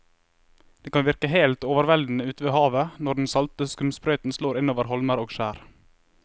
Det kan virke helt overveldende ute ved havet når den salte skumsprøyten slår innover holmer og skjær.